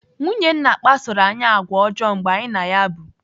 Nwunye nna kpasoro anyị àgwà ọjọọ mgbe anyị na ya bụ.